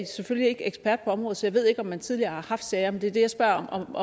selvfølgelig ikke ekspert på området så jeg ved ikke om man tidligere har haft sager men det er det jeg spørger om